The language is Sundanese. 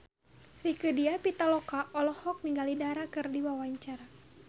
Rieke Diah Pitaloka olohok ningali Dara keur diwawancara